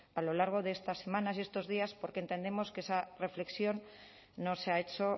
a lo largo de estas semanas y estos días porque entendemos que esa reflexión no se ha hecho o